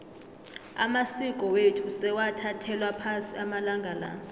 amasiko wethu sewathathelwa phasi amalanga la